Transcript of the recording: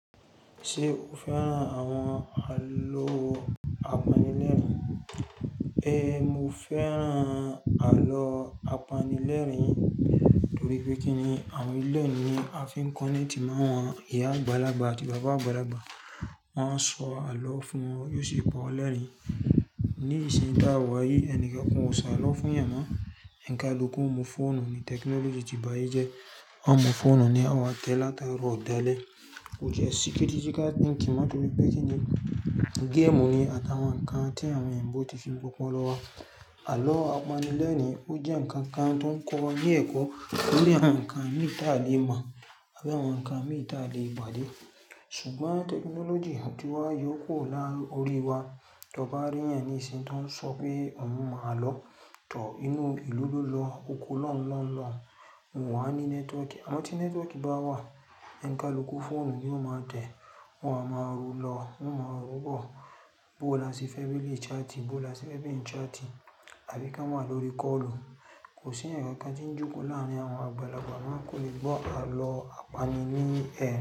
Ṣé o fẹ́ràn àwọn àlọ́ apanilẹ́rìn? Ée, mo fẹ́ràn àlọ́ apanilẹ́rìn-ín, torí pé kí ni, àwọn ìlú ẹ̀ ni a fi ń kọ́ni tí má wọn, ìyá àgbàlagbà àti bàbá àgbàlagbà, wọ́n á sọ àlọ́ fún wọn, yóò sì pa ọ lẹ́rìn-ín. Ní ìsìn ta wọ̀ yí ẹnì kankan ò ṣọ àlọ́ fún èèyàn mọ́, ẹn ka l'ukun mu fóònù ni tẹkinọ́lọ́jì ti bá yí jẹ. Wọ́n o mú fóònù ni àwọn tẹ látara ọ̀dẹ́lẹ̀. Ó jẹ́ ṣíkétítíka ń kí mọ́tí pé kí ni, géèmù ni àtàwọn ǹkan tí àwọn eyijnbó ti fi ń gbá ọpọlọ wa. Àlọ́ apanilẹ́rìn-ín ó jẹ́ ǹkan kan tó ń kọ ọ ní ẹ̀kọ́ nílé àwọn ǹkan ní ìta lè mọ̀, àbí àwọn ǹkan mí ì. Ta lè pàdé. Ṣùgbọ́n tẹkinọ́lọ́jì àtíwá yóò kúrò láàárí orí wa, tó bá rí ènìyàn ní ìsìn tó ń sọ pé òun máa lọ tọ̀ inú ìlú ló lọ oko lọ́ń lọ́n lọ, òun wà ní nẹ́tíwọ́kì. Àmọ́ tí nẹ́tíwọ́kì bá wà, ẹnka l'ókun fóònù ni ó máa tẹ̀, wọ́n ó máa ru lọ, wọ́n ó máa rúbọ̀, bó la sí family chatting, bó la sí family chatting, àbí ká wà lórí kọ́ọ̀lù. Kò sí ǹkan tí ń jókòó láàrin àwọn àgbàlagbà máa kò lè gbọ́ àlọ́ apani ní ẹ̀.